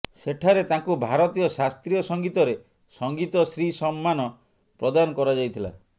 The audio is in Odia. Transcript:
ସେଠାରେ ତାଙ୍କୁ ଭାରତୀୟ ଶାସ୍ତ୍ରୀୟ ସଙ୍ଗୀତରେ ସଙ୍ଗୀତ ଶ୍ରୀ ସମ୍ମାନ ପ୍ରଦାନ କରାଯାଇଥିଲା